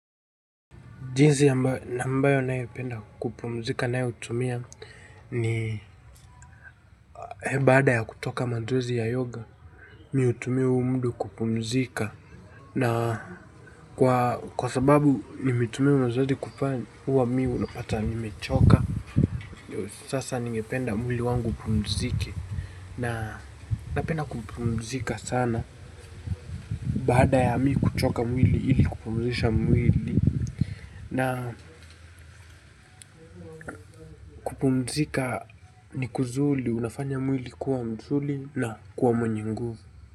Jinsi ambayo naependa kupumzika nayo hutumia ni baada ya kutoka mazoezi ya yoga Mi hutumia huu muda kupumzika. Na kwa sababu nimetumia mazoezi kupani huwa mi unapata nimechoka. Sasa ningependa mwili wangu upumzike. Na napenda kupumzika sana. Baada ya mi kuchoka mwili ili kupumzisha mwili. Na kupumzika ni kuzuri unafanya mwili kuwa mzuri na kuwa mwenye nguvu.